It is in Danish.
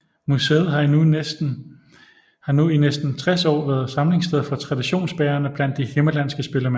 Museet har nu i næsten 60 år været samlingssted for traditionsbærerne blandt de himmerlandske spillemænd